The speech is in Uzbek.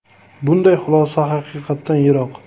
Bunday xulosa haqiqatdan yiroq.